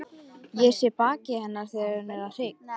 Ég sé á baki hennar að hún er hrygg.